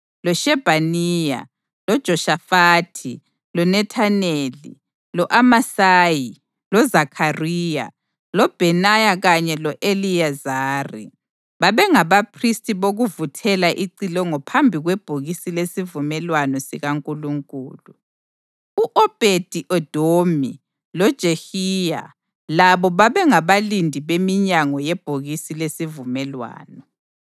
loShebhaniya, loJoshafathi loNethaneli, lo-Amasayi, loZakhariya, loBhenaya kanye lo-Eliyezari bengabaphristi bokuvuthela icilongo phambi kwebhokisi lesivumelwano sikaNkulunkulu. U-Obhedi-Edomi loJehiya labo babengabalindi beminyango yebhokisi lesivumelwano.